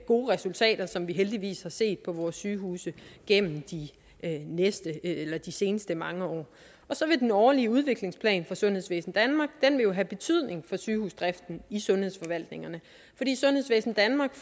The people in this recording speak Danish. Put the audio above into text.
gode resultater som vi heldigvis har set på vores sygehuse gennem de seneste mange år og så vil den årlige udviklingsplan for sundhedsvæsen danmark have betydning for sygehusdriften i sundhedsforvaltningerne fordi sundhedsvæsen danmark